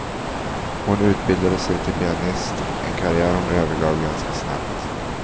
Hon utbildade sig till pianist, en karriär hon övergav ganska snabbt.